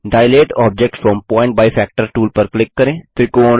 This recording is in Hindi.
दिलते object from point by factor tool पर क्लिक करें